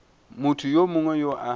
motho yo mongwe yo a